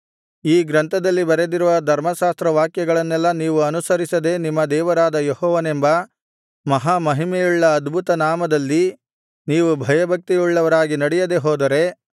ಈ ಗ್ರಂಥದಲ್ಲಿ ಬರೆದಿರುವ ಧರ್ಮಶಾಸ್ತ್ರವಾಕ್ಯಗಳನ್ನೆಲ್ಲಾ ನೀವು ಅನುಸರಿಸದೆ ನಿಮ್ಮ ದೇವರಾದ ಯೆಹೋವನೆಂಬ ಮಹಾಮಹಿಮೆಯುಳ್ಳ ಅದ್ಭುತ ನಾಮದಲ್ಲಿ ನೀವು ಭಯಭಕ್ತಿಯುಳ್ಳವರಾಗಿ ನಡೆಯದೆ ಹೋದರೆ